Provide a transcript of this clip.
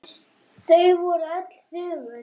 Þau voru öll þögul.